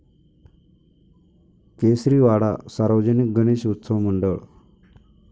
केसरीवाडा सार्वजनिक गणेश उत्सव मंडळ